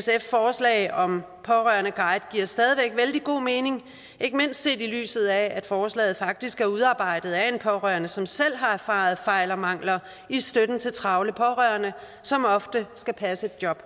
sfs forslag om pårørende guide giver stadig væk vældig god mening ikke mindst set i lyset af at forslaget faktisk er udarbejdet af en pårørende som selv har erfaret fejl og mangler i støtten til travle pårørende som ofte skal passe et job